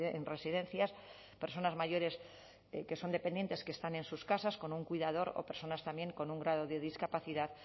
en residencias personas mayores que son dependientes que están en sus casas con un cuidador o personas también con un grado de discapacidad